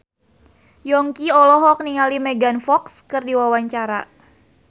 Yongki olohok ningali Megan Fox keur diwawancara